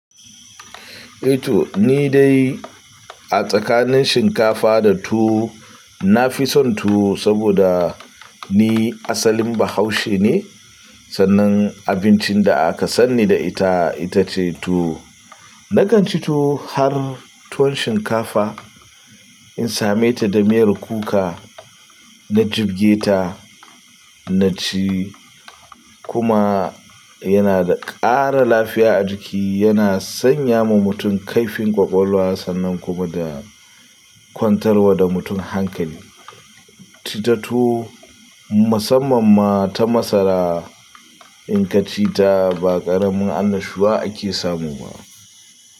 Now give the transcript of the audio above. Eh to ni dai a tsakanin shinkafa da tuwo, na fi son tuwo saboda ni asalin Bahaushe ne sannan abincin da aka sanni da ita, ita ce tuwo. Na kan ci tuwo har tuwon shinkafa in same ta da miyar kuka, na jibge ta, na ci kuma yana da ƙara lafiya a jiki, yana sanya ma mutum kaifin ƙwaƙwalwa sannan kuma da kwantarwa da mutum hankali. Ita tuwo musamman ma ta masara in ka ci ta ba ƙaramin annashuwa ake samu ba.